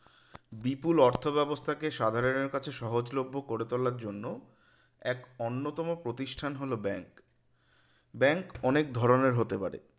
বিপুল অর্থ ব্যবস্থাকে সাধারণের কাছে সজলভ্য করে তোলার জন্য এক অন্যতম প্রতিষ্ঠান হল bank bank অনেক ধরণের হতে পারে